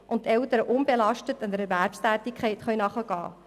So können Eltern unbelastet einer Erwerbstätigkeit nachgehen.